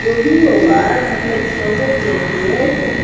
जो भी होगा मतलब सोने के लिए तो --